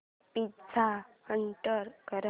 pizza order कर